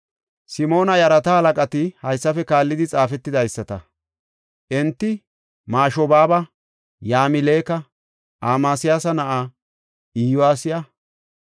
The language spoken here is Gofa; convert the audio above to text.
Simoona yarata halaqati haysafe kaallidi xaafetidaysata. Enti Mashobaaba, Yamileka, Amasiyaasa na7aa Iyosiya,